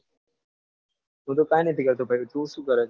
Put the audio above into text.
હું તો કાઈ નથી કરતો ભાઈ તુ સુ કરે?